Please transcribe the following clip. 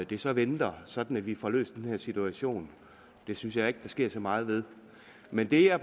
det så venter sådan at vi får løst den her situation synes jeg ikke der sker så meget ved men der er